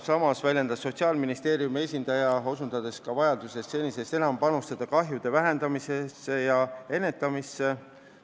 Sotsiaalministeeriumi esindaja osutas vajadusele panustada senisest enam alkoholist põhjustatud kahju vähendamisse ja ennetamisse.